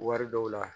Wari dɔw la